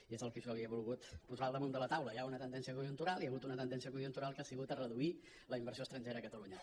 i és el que jo li he volgut posar al damunt de la taula hi ha una tendència conjuntural hi ha hagut una tendència conjuntural que ha sigut a reduir la inversió estrangera a catalunya